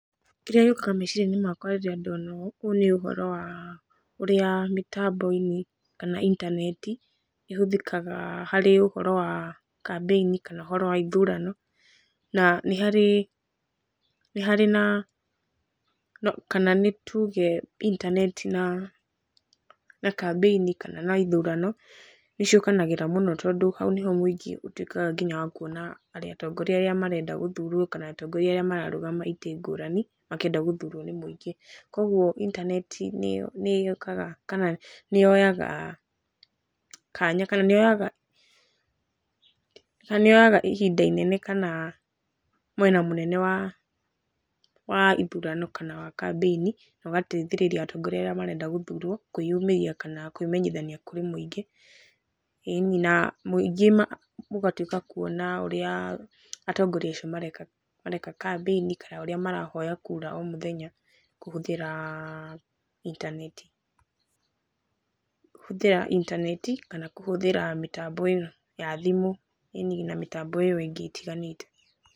Kĩrĩa gĩũkaga meciria-inĩ makwa rĩrĩa ndona ũũ, ũyũ nĩ ũhoro wa ũrĩa mĩtambo-inĩ kana intaneti ĩhũthĩkaga harĩ ũhoro wa kambĩ-inĩ kana ũhoro wa ithurano na nĩ harĩ na, nĩ harĩ kana nĩ tuge itaneti na kambĩini kana na ithurano nĩ ciũkanagĩra mũno tondũ hau nĩ ho mũingĩ, ũtuĩkaga nginya wa kuona atongoria arĩa marenda gũthurwo kana atongoria arĩ mararũgama itĩ ngũrani, makĩenda gũthurwo nĩ mũingĩ. Koguo intaneti nĩ yũkanaga kana nĩ yoyaga kanya kana nĩ yoyaga ihinda inene kana mwena mũnene wa ithurano kana wa kambĩini. Na ũgateithĩrĩria atongoria arĩa marenda gũthurwo kwĩ yumĩria kana kwĩmenyithania kũrĩ mũngĩ. ĩĩ ni na mũngĩ ũgatuĩka kuona ũria atongoria acio mareka kambĩini kana ũrĩa marahoya kura o mũthenya kũhũthĩra intaneti kana kũhũthĩra mĩtambo ya thimũ ĩni na mitambo ĩyo ĩngĩ ĩtiganĩte.